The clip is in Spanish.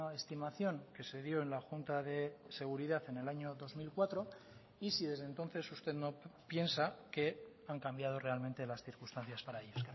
estimación que se dio en la junta de seguridad en el año dos mil cuatro y si desde entonces usted no piensa que han cambiado realmente las circunstancias para ello